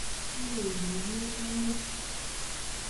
"Iywei biik kiit nemangen"